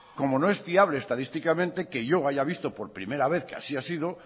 como no es fiable estadísticamente que yo haya visto por primera vez que así ha sido